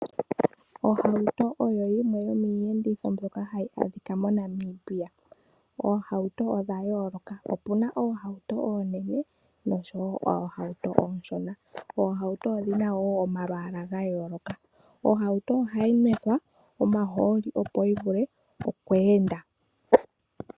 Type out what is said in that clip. Ohauto oyo yimwe yo miiyenditho mbyoka hayi adhika mo Namibia, oohauto odha yooloka opuna oohauto oonene nosho woo oohauto ooshona. Oohauto odhina woo omalwaala gayooloka. Ohauto ohayi nwethwa omahooli opo yivule okweenda.